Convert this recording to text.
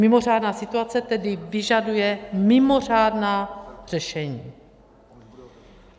Mimořádná situace tedy vyžaduje mimořádná řešení.